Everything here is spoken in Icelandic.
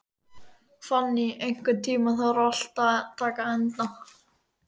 Fanný, einhvern tímann þarf allt að taka enda.